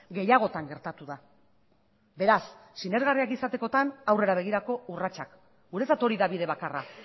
gehiagotan gertatu da beraz sinesgarria izatekotan aurrera begirako urratsak guretzat hori da bide bakarra